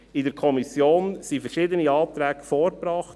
In der Kommission wurden verschiedene Anträge vorgebracht.